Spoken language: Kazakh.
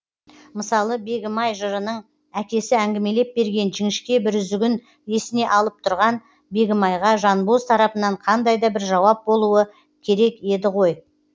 мысалы бегімай жырының әкесі әңгімелеп берген жіңішке бір үзігін есіне алып тұрған бегімайға жанбоз тарапынан қандай да бір жауап болуы керек еді ғой